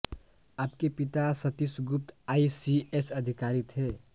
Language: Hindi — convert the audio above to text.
आपके पिता Satish Gupta I C S अधिकारी थे